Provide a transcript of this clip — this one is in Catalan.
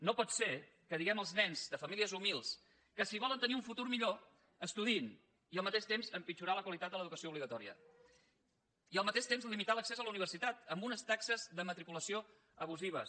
no pot ser que diguem als nens de famílies humils que si volen tenir un futur millor estudiïn i al mateix temps empitjorar la qualitat de l’educació obligatòria i al mateix temps limitar l’accés a la universitat amb unes taxes de matriculació abusives